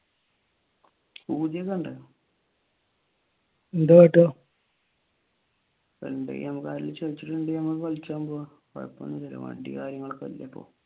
എന്തെ വണ്ടി കാര്യങ്ങൾ ഒക്കെ ഉണ്ടല്ലോ ഇപ്പോൾ